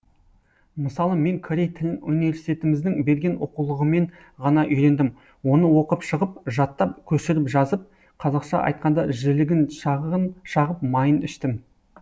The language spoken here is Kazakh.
мысалы мен корей тілін университетіміздің берген оқулығымен ғана үйрендім оны оқып шығып жаттап көшіріп жазып қазақша айтқанда жілігін шағып майын іштім